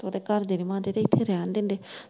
ਤੇ ਓਦੇ ਘਰਦੇ ਨੀ ਮੰਨਦੇ ਤੇ ਇੱਥੇ ਰਹਿਣ ਦਿੰਦੇ।